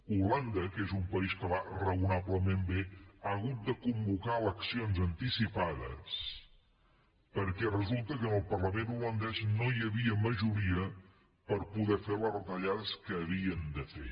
holanda que és un país que va raonablement bé ha hagut de convocar eleccions anticipades perquè resulta que en el parlament holandès no hi havia majoria per poder fer les retallades que havien de fer